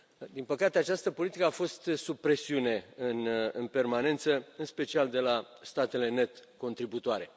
Din păcate, această politică a fost sub presiune în permanență, în special de la statele net contributoare.